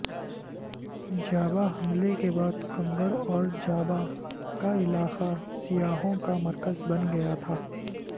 جابہ حملے کے بعد کنگڑ اور جابہ کا علاقہ سیاحوں کا مرکز بن گیا تھا